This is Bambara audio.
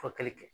Furakɛli kɛ